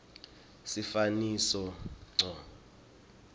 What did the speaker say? sifaniso ngco